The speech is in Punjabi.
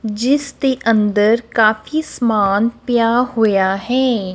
ਜਿਸ ਦੇ ਅੰਦਰ ਕਾਫੀ ਸਮਾਨ ਪਿਆ ਹੋਇਆ ਹੈ।